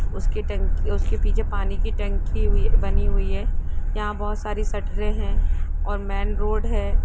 उसके टैंक उसके पीछे पानी की टंकी हुई बनी हुई हैं यहाँ बहुत सारे शटरे हैं और मैं रोड हैं।